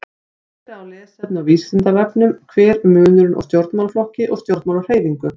Meira lesefni á Vísindavefnum: Hver er munurinn á stjórnmálaflokki og stjórnmálahreyfingu?